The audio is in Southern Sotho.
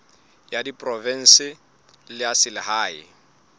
ya diprovense le ya selehae